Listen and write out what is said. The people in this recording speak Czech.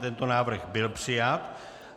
Tento návrh byl přijat.